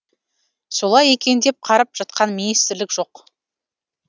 солай екен деп қарап жатқан министрлік жоқ